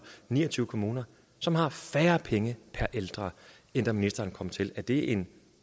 ni og tyve kommuner som har færre penge per ældre end da ministeren kom til er det en